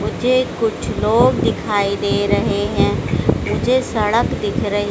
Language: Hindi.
मुझे कुछ लोग दिखाई दे रहे हैं मुझे सड़क दिख रही--